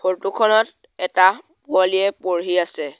ফৰটো খনত এটা পোৱালিয়ে পঢ়ি আছে।